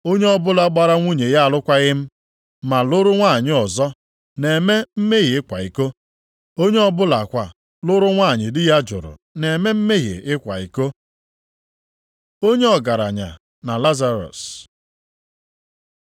“Onye ọbụla gbara nwunye ya alụkwaghị m ma lụrụ nwanyị ọzọ na-eme mmehie ịkwa iko. Onye ọ bụlakwa lụrụ nwanyị di ya jụrụ na-eme mmehie ịkwa iko. Onye ọgaranya na Lazarọs